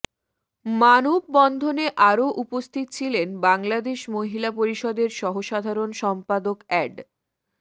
মানববন্ধনে আরও উপস্থিত ছিলেন বাংলাদশ মহিলা পরিষদের সহসাধারণ সম্পাদক অ্যাড